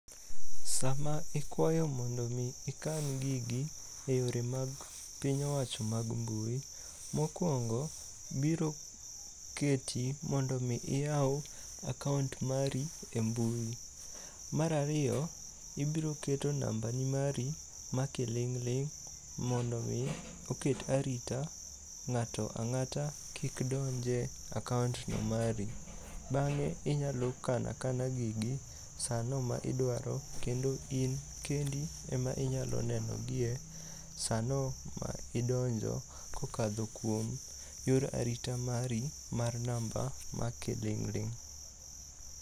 Sama ikwayo mondo omi ikan gigi e yore mag piny owacho mag mbui, mokwongo biro keti mondo omi iyaw akaont mari e mbui. Mar ariyo ibiro keto nambani mari ma kiling'ling' mondo omi oket arita ng'at ang'ata kik donj e akaont mari. Bang'e inyalo kano akana gigi sano ma idwaro kendo in kendi ema inyalo nenogie sano ma idonjo kokadho kuom yor arita mari mar namba ma kiling'ling'.